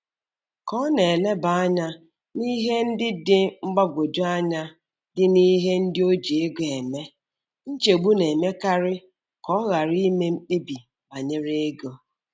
Ka ọ na-eleba anya n'ihe ndị dị mgbagwoju anya dị n'ihe ndị o ji ego eme, nchegbu na-emekarị ka ọ ghara ime mkpebi banyere ego.